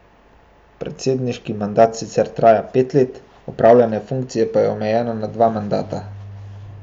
Predsedniški mandat sicer traja pet let, opravljanje funkcije pa je omejeno na dva mandata.